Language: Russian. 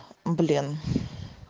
блин